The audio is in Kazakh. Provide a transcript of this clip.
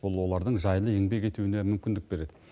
бұл олардың жайлы еңбек етуіне мүмкіндік береді